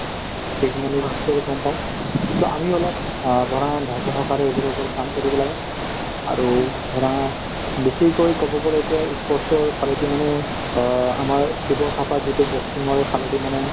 গম পাওঁ so আমি অলপ অ ধৰা ধৈৰ্য্য সহকাৰে এইবোৰৰ ওপৰত কাম কৰিব লাগে আৰু ধৰা বেছিকৈ কব গলে এতিয়া ই sport ৰ ফালেদি মানে অ আমাৰ শিৱথাপা যিটো boxing ৰ ফালেদি মানে